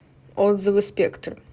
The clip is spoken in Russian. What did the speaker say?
отзывы спектр